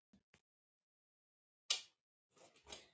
En hvað heitir mamma þín?